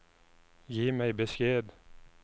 Gi meg beskjed